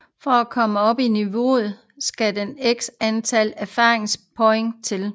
For at komme op i niveau skal der x antal erfaringspoint til